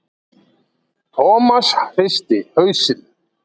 Thomas hristi hausinn.